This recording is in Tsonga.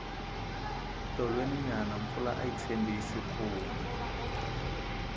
tolweni nyana mpfula ayi tshembisi ku na